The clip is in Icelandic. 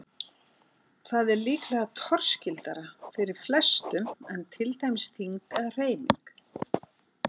Þannig er það líklega torskildara fyrir flestum en til dæmis þyngd eða hreyfing.